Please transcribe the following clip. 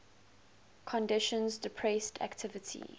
conditions depressed activity